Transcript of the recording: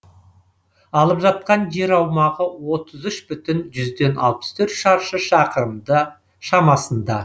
алып жатқан жер аумағы отыз үш бүтін жүзден алпыс төрт шаршы шақырым шамасында